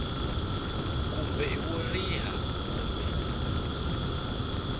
kumbe i wo riha kumbe